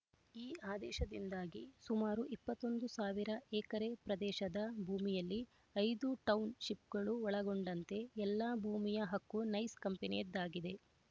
ಈ ಆದೇಶದಿಂದಾಗಿ ಸುಮಾರು ಇಪ್ಪತ್ತ್ ಒಂದು ಸಾವಿರ ಎಕರೆ ಪ್ರದೇಶದ ಭೂಮಿಯಲ್ಲಿ ಐದು ಟೌನ್ ಶಿಪ್‌ಗಳು ಒಳಗೊಂಡಂತೆ ಎಲ್ಲಾ ಭೂಮಿಯ ಹಕ್ಕು ನೈಸ್ ಕಂಪನಿಯದ್ದಾಗಿದೆ